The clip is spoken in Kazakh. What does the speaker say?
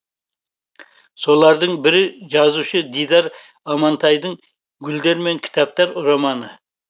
солардың бірі жазушы дидар амантайдың гүлдер мен кітаптар романы